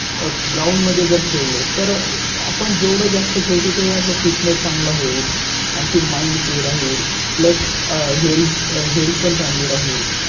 Ground मध्ये जर खेळ लो तर आपण जेवढं जास्त खेळतो तेव्हा आपला Fitness चांगला होईल. आणखी माइन Free राहील Plus Health Health पण चांगली राहील.